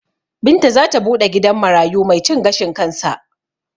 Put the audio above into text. Binta zata buɗe gidan marayu mai cin gashin kansa